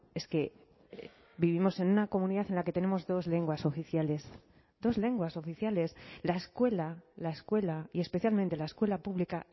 es que vivimos en una comunidad en la que tenemos dos lenguas oficiales dos lenguas oficiales la escuela la escuela y especialmente la escuela pública